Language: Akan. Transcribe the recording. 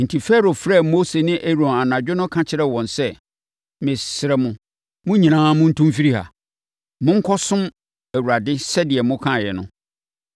Enti, Farao frɛɛ Mose ne Aaron anadwo no ka kyerɛɛ wɔn sɛ, “Mesrɛ mo, mo nyinaa montu mfiri ha. Monkɔsom Awurade sɛdeɛ mokaeɛ no.